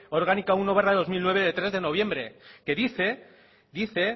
orgánica uno barra dos mil nueve de tres de noviembre que dice dice